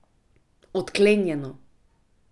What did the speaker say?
Odklenjeno!